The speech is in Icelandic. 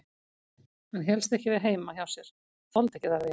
Hann hélst ekki við heima hjá sér, þoldi ekki þar við.